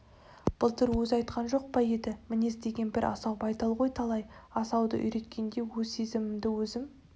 былтыр өзі айтқан жоқ па еді мінез деген бір асау байтал ғой талай асауды үйреткенде өз сезімімді өзім